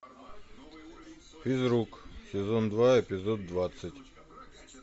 физрук сезон два эпизод двадцать